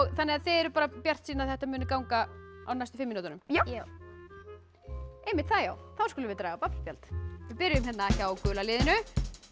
þannig að þið eruð bjartsýn að þetta muni ganga á næstu fimm mínútunum já þá já þá skulum við draga babb spjald við byrjum hjá gula liðinu